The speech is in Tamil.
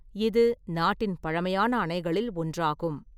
இது நாட்டின் பழமையான அணைகளில் ஒன்றாகும்.